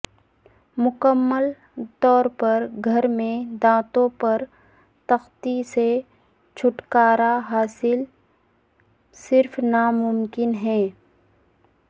مکمل طور پر گھر میں دانتوں پر تختی سے چھٹکارا حاصل صرف ناممکن ہے